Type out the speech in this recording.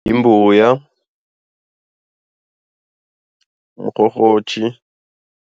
Yimbuya mrhorhotjhi.